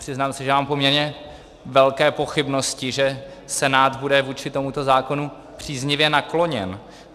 Přiznám se, že mám poměrně velké pochybnosti, že Senát bude vůči tomuto zákonu příznivě nakloněn.